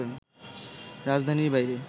রাজধানীর বাইরে